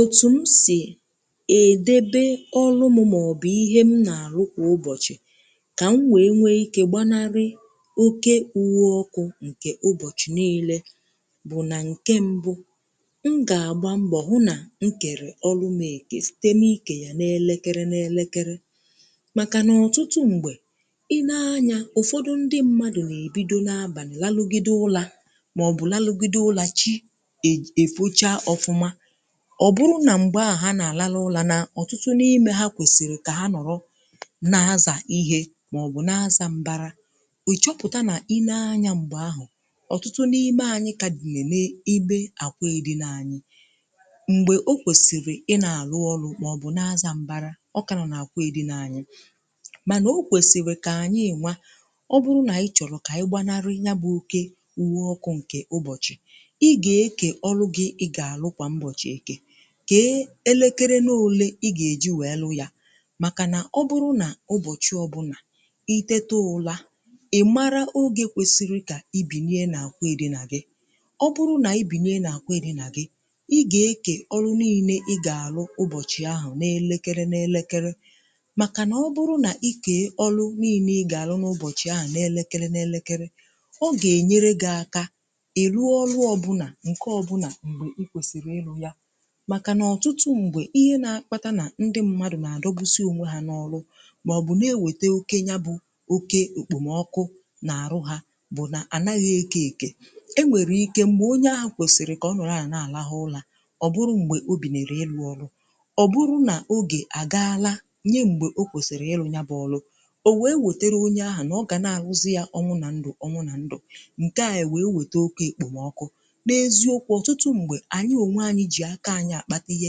Otù m si è débé ọrụ mụ maọ̀bụ̀ ihe m na-arụ kwà ụbọchị̀, kà m wee nwee ike gbanarị oke uwe ọkụ̀ nke ụbọchị̀ niilė, bụ̀ nà nke mbụ̀, m gà-agba mbọ̀ hụ nà m kèrè ọlụ m ekè site na-ikè yà na-elekere na-elekere. Màkà nà ọ̀tụtụ m̀gbè i nee anyȧ ụ̀fọdụ ndị mmadụ̀ nà-ebido na-abàlà larugide ụlȧ màọbụ̀ larugide ụlȧ chi e e fụcha ọfụma, ọ̀ bụrụ nà m̀gbe ahụ̀ nà àlàlà ụlọ̀ nà ọ̀tụtụ n’imė ha kwèsìrì kà ha nọ̀rọ, na-azà ihė màọ̀bụ̀ na-azȧ m̀bara, ì chọpụ̀ta nà i nee anya m̀gbè ahụ̀ ọ̀tụtụ n’ime anyị̇ kà dìmeme ibe àkwụ èdi n’anyị̇, m̀gbè o kwèsìrì ị nà àlụ ọlụ̇ màọ̀bụ̀ na-azȧ m̀bara ọ kà na nà àkwụ èdị n’anyị̇. Manà o kwèsìrì kà ànyị enwa ọ bụrụ nà ị chọ̀rọ̀ kà ị gbanarị ya bụ̇ oke uwe ọkụ̇ ǹkè ụbọ̀chị̀ ị gà-eke ọlụghị̇ ị gà-àrụ kwa mbochi eke, ke elekere n’ole i gà-èji wee lụ yȧ. Màkà nà ọ bụrụ nà ụbọ̀chị ọbụlà itete ụlȧ, ị̀ mara ogė kwesiri kà i bìnye nà-àkwa edinà gị. ọ bụrụ nà i bìnye nà-àkwa edinà gị, i gè-ekè ọrụ niine i gà-àlụ ụbọ̀chị̀ ahụ̀ na-elekere na-elekere màkà nà ọ bụrụ nà i kèe ọlụ niine i gà-àlụ n’ụbọ̀chị̀ ahụ̀ na-elekere na-elekere ọ gà-ènyere gị̀ aka è ruo ọlụ̇ ọbụnà ǹke ọbụnà m̀bè i kwèsìrì ilu̇ ya. Maka n’ọtụtụ mgbe ihe na-akpata na ndị mmadụ̀ na-adọbusi onwe ha n’ọrụ, maọ̀bụ̀ na-eweta oke ya bụ̀ oke okpomọkụ na-arụ ha, bụ na anaghị eke eke e nwere ike mgbe onye ahụ kwesiri ka ọ nụrụ ahụ na-alaha ụlọ̀ ọ bụrụ mgbe o binere elu̇ ọrụ̀, ọ bụrụ n’oge agaalà nye mgbe o kwesiri ịlụ̇ nya bụ̇ ọlụ̀, o wee wetere onye ahụ na ọ ga na-alụzị yà ọnwụ na ndụ̀ ọnwụ na ndụ̀, nke à ewe nwetoke okpomọkụ̀. N’eziokwu ọtụtụ mgbe anyi onwe anyi ji aka anyi akpata ihe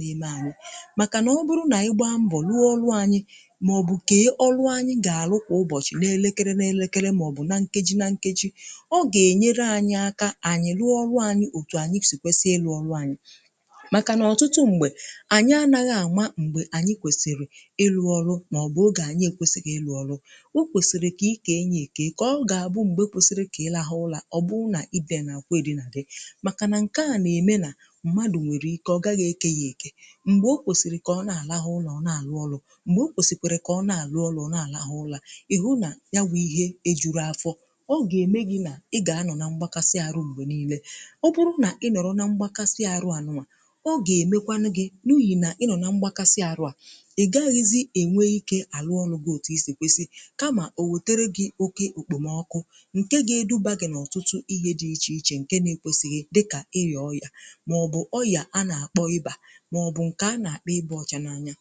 neme anyi. Màkà nà ọ bụrụ nà anyị gba mbọ̀ luọ ọrụ anyị, màọ̀bụ̀ kee ọlụ anyị gà-àlụ kwà ụbọ̀chị̀ n’elekere n’elekere màọbụ̀ na nkeji na nkeji, ọ gà-ènyere anyị aka anyị luọ ọrụ anyị òtù ànyị si̇kwesị̀ elu ọlụ anyị̀. Màkà nà ọ̀tụtụ m̀gbè ànyị anaghị àma m̀gbè ànyị kwèsìrì ịlu ọrụ màọbụ̀ oge-ànyị ekwesịghị ilu ọlụ. O kwèsìrì kà ị kà enyì ekwe kà ị kà ọ gà-àbụ m̀gbè e kwesìrì kà ị làha ụlȧ ọ bụrụ nà idė nà akwọ èrina dị màkà nà ǹke a nà-ème nà m̀gbè o kwèsìrì kà ọ na-àlàhụ ụlọa, ọ na-àlà ọlụ̇ m̀gbè o kwèsìkwèrè kà ọ na-àlà ọlụ̇, ọ na-àlàhụ ụlọa, ị̀ hụ nà ya wụ̇ ihe ejuru afọ̇. ọ gà-ème gi̇ nà ị gà-anọ̇ na mgbakasị àrụ m̀gbè niilė, ọ bụrụ nà ị nọ̀rọ̀ na mgbakasị àrụ ànụmà ọ gà-èmekwanụ gi̇ n’ughì nà ị nọ̀ na mgbakasị àrụ à ị gaghịzị ènwe ikė àlụ ọlụ̇ gi̇ òtù isì kwesì, kamà owetere gi̇ oke òkpòmọkụ, ǹkè ga-edubà gi̇ n’ọtụtụ ihe dị ichè ichè ǹke na-ekwesìghì dịkà ị yà ọrìa maọ̀bụ̀ ọrìa a na-akpọ̀ iba, maọ̀bụ̀ nke a na-akpọ̀ iba ọchà n’anya.